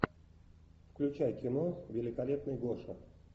включай кино великолепный гоша